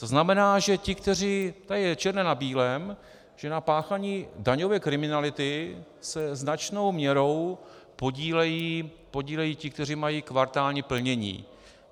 To znamená, že ti, kteří - tady je černé na bílém, že na páchání daňové kriminality se značnou měrou podílejí ti, kteří mají kvartální plnění.